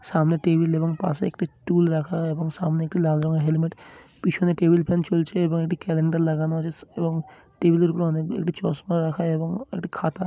সামনে টেবিল এবং পাশে একটি টুল রাখা এবং সামনে একটি লাল রঙের হেলমেট পিছনে টেবিল ফ্যান চলছে এবং একটি ক্যালেন্ডার লাগানো আছে স এবং টেবিলের উপর অনেক ই একটি চশমা রাখা এবং একটি খাতা --